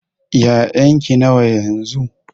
ya'yan ki nawa yanzu?